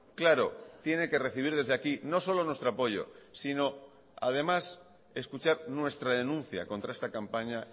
claro tiene que recibir desde aquí no solo nuestro apoyo sino además escuchar nuestra denuncia contra esta campaña